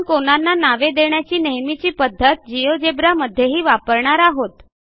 आपण कोनांना नावे देण्याची नेहमीची पध्दत जिओजेब्रा मध्येही वापरणार आहोत